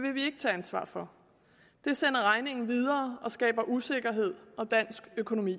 vil vi ikke tage ansvar for det sender regningen videre og skaber usikkerhed om dansk økonomi